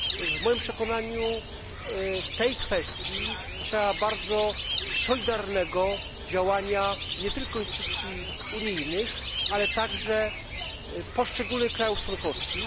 W moim przekonaniu w tej kwestii trzeba bardzo solidarnego działania nie tylko instytucji unijnych, ale także poszczególnych krajów członkowskich.